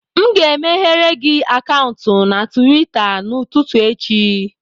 M ga-emeghere gị akaụntụ na Tuweeta n'ụtụtụ echi